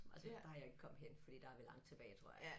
Men altså der jeg ikke kommet hen fordi der vi langt tilbage tror jeg